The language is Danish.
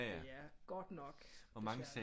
Det er godt nok